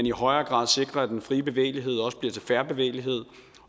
i højere grad sikrer at den frie bevægelighed også bliver til fair bevægelighed